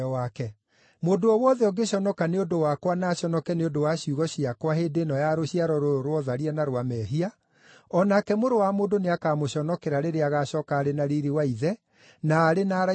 Mũndũ o wothe ũngĩconoka nĩ ũndũ wakwa na aconoke nĩ ũndũ wa ciugo ciakwa hĩndĩ ĩno ya rũciaro rũrũ rwa ũtharia na rwa mehia, o nake Mũrũ wa Mũndũ nĩakamũconokera rĩrĩa agaacooka arĩ na riiri wa Ithe, arĩ na araika arĩa atheru.”